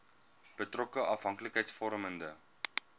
betrokke afhanklikheids vormende